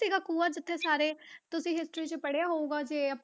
ਸੀਗਾ ਖੂਹਾ ਜਿੱਥੇ ਸਾਰੇ ਤੁਸੀਂ history 'ਚ ਪੜ੍ਹਿਆ ਹੋਊਗਾ ਜੇ